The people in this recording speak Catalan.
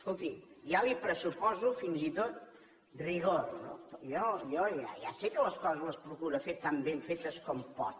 escolti ja li pressuposo fins i tot rigor no jo ja sé que les coses les procura fer tan ben fetes com pot